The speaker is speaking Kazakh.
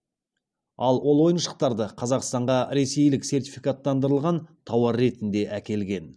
ал ол ойыншықтарды қазақстанға ресейлік сертификаттандырылған тауар ретінде әкелген